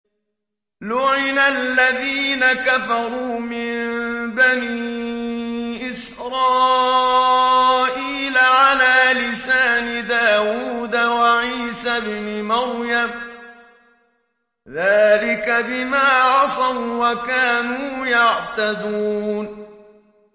لُعِنَ الَّذِينَ كَفَرُوا مِن بَنِي إِسْرَائِيلَ عَلَىٰ لِسَانِ دَاوُودَ وَعِيسَى ابْنِ مَرْيَمَ ۚ ذَٰلِكَ بِمَا عَصَوا وَّكَانُوا يَعْتَدُونَ